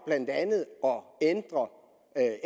blandt andet om at